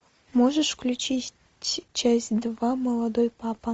можешь включить часть два молодой папа